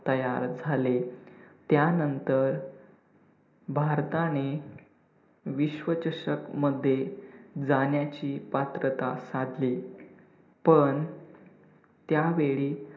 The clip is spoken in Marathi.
तयार झाले. त्यानंतर भारताने विश्वचषक मध्ये जाण्याची पात्रता साधली पण त्यावेळी